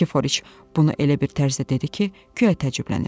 Nikiforiç bunu elə bir tərzdə dedi ki, guya təəccüblənib.